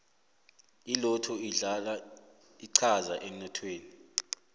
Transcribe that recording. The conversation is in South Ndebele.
ilotto idlala inqhaza emnothweni